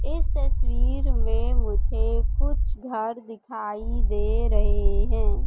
इस तस्वीर में मुझे कुछ घर दिखाई दे रहें हैं।